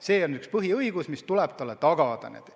See on üks põhiõigus, mis tuleb talle tagada.